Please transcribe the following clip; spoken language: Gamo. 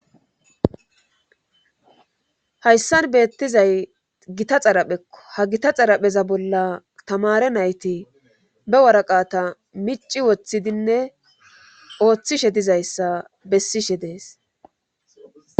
hayssan beettizay gita xaraphekko ha gita xarapheza bolla tamare nayti be waraqata mici woththidinne ooththishe dizayssa bessishe deesi.